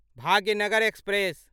Bhagyanagar express